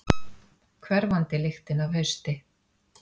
Hverfandi lyktin af hausti.